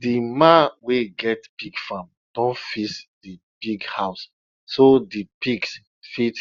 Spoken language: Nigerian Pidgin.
di man we get pig farm don fix di pig house so di pigs fit